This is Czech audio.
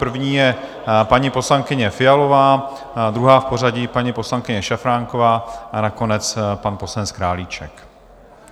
První je paní poslankyně Fialová, druhá v pořadí paní poslankyně Šafránková a nakonec pan poslanec Králíček.